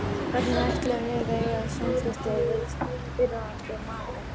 Hvernig ætlum við að eiga samskipti við fyrrverandi maka?